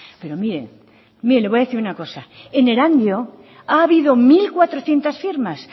pero mire le voy a decir una cosa en erandio ha habido mil cuatrocientos firmas